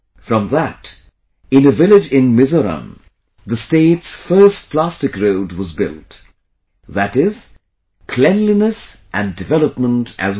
From that, in a village in Mizoram, the state's first plastic road was built... that is cleanliness and development as well